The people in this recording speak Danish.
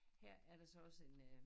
Her er der så også en øh